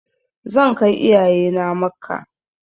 Zan kai iyaye na Makka.